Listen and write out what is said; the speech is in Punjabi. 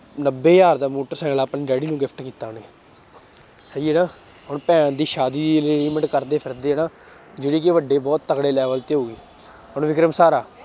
ਨੱਬੇ ਹਜ਼ਾਰ ਦਾ ਮੋਟਰਸਾਇਕਲ ਆਪਣੇ daddy ਨੂੰ gift ਕੀਤਾ ਉਹਨੇ ਸਹੀ ਹੈ ਨਾ ਹੁਣ ਭੈਣ ਦੀ ਸ਼ਾਦੀ arrangement ਕਰਦੇ ਫਿਰਦੇ ਹੈ ਨਾ ਜਿਹੜੀ ਕਿ ਵੱਡੇ ਬਹੁਤ ਤੱਕੜੇ level ਤੇ ਹੋਈ ਹੁਣ ਵਿਕਰਮ ਸਰ ਆ